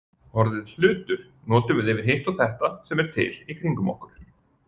Orðið hlutur notum við yfir hitt og þetta sem er til í kringum okkur.